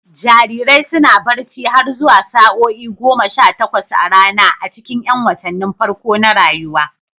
Jarirai suna barci har zuwa sa'o'i goma sha takwas a rana a cikin 'yan watannin farko na rayuwa.